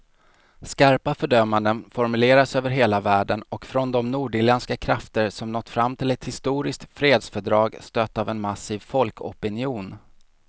Skarpa fördömanden formuleras över hela världen och från de nordirländska krafter som nått fram till ett historiskt fredsfördrag, stött av en massiv folkopinion.